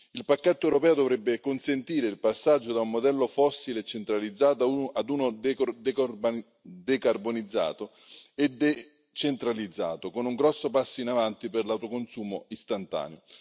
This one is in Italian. Il pacchetto europeo dovrebbe consentire il passaggio da un modello fossile e centralizzato a uno decarbonizzato e decentrato, con un grosso passo avanti per l'autoconsumo istantaneo.